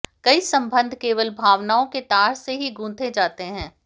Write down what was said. कई संबंध केवल भावनाओं के तार से ही गूंथे जाते हैं